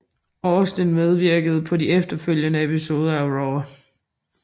Austin medvirkede på de efterfølgende episoder af RAW